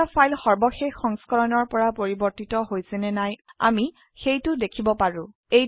আৰু এটা ফাইল সৰ্বশেষ সংস্কৰণৰ পৰা পৰিবৰ্তিত হৈছে নে নাই আমি সেইটো দেখিব পাৰো